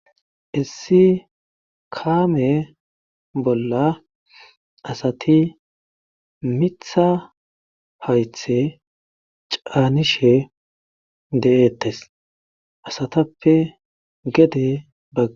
Issi kaamee bolla asati mitha haythe caanishe de7eettes asatappe gede ba.